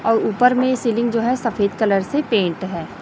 अ ऊपर में सीलिंग जो है सफेद कलर से पेंट है।